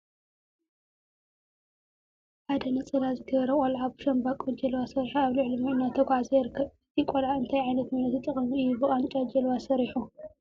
ሓደ ነፀላ ዝገበረ ቆልዓ ብሻምበቆ ጀልባ ሰሪሑ አብ ልዕሊ ማይ እናተጓዓዘ ይርከብ፡፡ እዚ ቆልዓ እንታ ዓይነት ሜላ ተጠቂሙ እዩ ብቃንጫ ጀልባ ሰሪሑ?